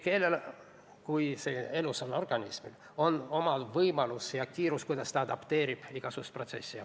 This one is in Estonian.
Keelel kui elusal organismil on omad võimalused ja oma kiirus, kuidas ta adapteerib igasuguseid protsesse.